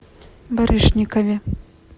барышникове